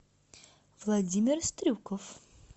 владимир стрюков